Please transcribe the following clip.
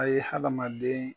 A ye hadamaden